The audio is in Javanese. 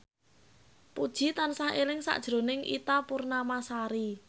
Puji tansah eling sakjroning Ita Purnamasari